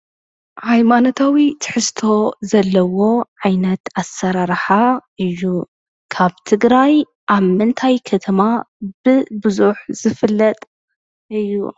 ሃይማኖታዊ ትሕዝቶ ዘለዎ ዓይነት ኣሰራርሓ እዩ። ካብ ትግራይ ኣብ ምንታይ ከተማ ብቡዝሕ ዝፍለጥ እዩ?